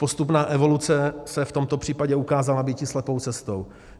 Postupná evoluce se v tomto případě ukázala býti slepou cestou.